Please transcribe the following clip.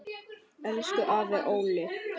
Elsku afi Olli.